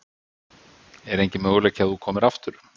Er enginn möguleiki á að þú komir aftur?